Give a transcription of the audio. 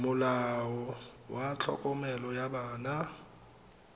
molao wa tlhokomelo ya bana